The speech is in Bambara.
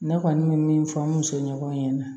Ne kɔni bɛ min fɔ n musoɲɔgɔn ɲɛna